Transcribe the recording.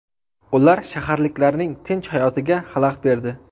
Ular shaharliklarning tinch hayotiga xalaqit berdi.